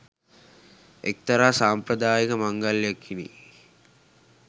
එක්තරා සාම්ප්‍රදායික මංගල්ලයකිනි.